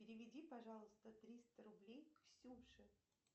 переведи пожалуйста триста рублей ксюше